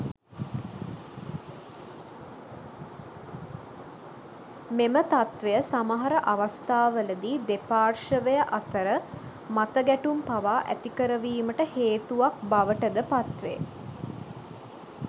මෙම තත්ත්වය සමහර අවස්ථාවලදී දෙපාර්ශ්වය අතර මත ගැටුම් පවා ඇති කරවීමට හේතුවක් බවටද පත්වේ.